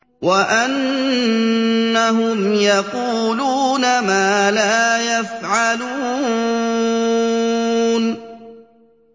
وَأَنَّهُمْ يَقُولُونَ مَا لَا يَفْعَلُونَ